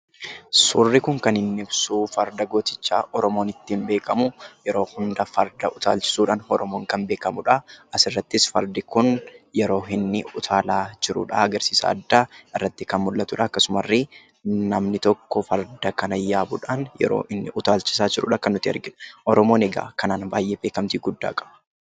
Suurri kun kan inni ibsu Farda gootichaa Oromoon ittiin beekamu yeroo hundumaa farda utaalchisuudhaan Oromoon kan beekamudha. Isirrattis fardi kun yeroo inni utaalaa jirudha. Agarsiisa addaa irratti kan mul'atu dha, akkasummas illee namni tokko farda kana yeroo utaalchisaa jirudha kan nuti arginu. Oromoon egaa kanaan baay'ee beekamtii guddaa qaba.